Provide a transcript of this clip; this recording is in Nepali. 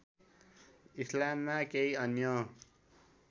इस्लाममा केही अन्य